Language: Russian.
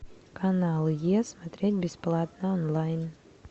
канал е смотреть бесплатно онлайн